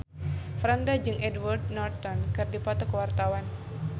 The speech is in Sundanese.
Franda jeung Edward Norton keur dipoto ku wartawan